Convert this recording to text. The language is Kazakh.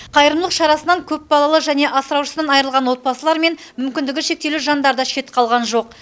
қайырымдылық шарасынан көпбалалы және асыраушысынан айырылған отбасылар мен мүмкіндігі шектеулі жандар да шет қалған жоқ